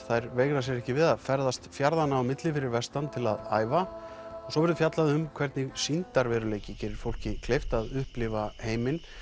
þær veigra sér ekki við að ferðast fjarðanna á milli fyrir vestan til að æfa og svo verður fjallað um hvernig sýndarveruleiki gerir fólki kleift að upplifa heiminn